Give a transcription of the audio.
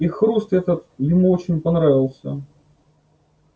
и хруст этот ему очень понравился